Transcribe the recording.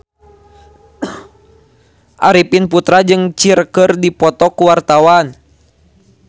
Arifin Putra jeung Cher keur dipoto ku wartawan